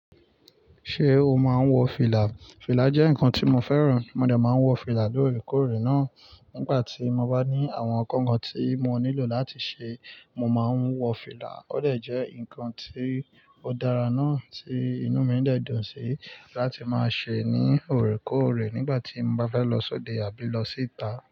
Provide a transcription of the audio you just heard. Ṣé o máa ń wọ fìlà? Fìlà jẹ́ nǹkan tí mo fẹ́ràn. Mo de máa ń wọ fìlà lóòrèkóòrè náà nígbà tí mo bá ní àwọn nkankan tí mo nílò láti ṣe. Mo máa ń wọ fìlà ó dè jẹ́ nǹkan tí ó dára náà, tí inú mi dè dùn sí láti máa ṣe ní òrèkóòrè nígbà tí mo bá fẹ́ lọ sóde àbí lọ síta.